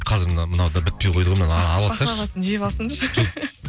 қазір мынау да бітпей қойды ғой мынаны ала салшы баклавасын жеп алсын жоқ